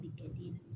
I ta bi